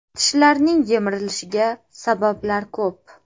Tishlarning yemirilishiga sabablar ko‘p.